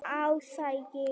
Ásgeir